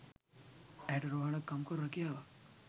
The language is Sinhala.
ඇයට රෝහලක කම්කරු රැකියාවක්